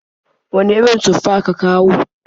Wane irin tufa ka kawo?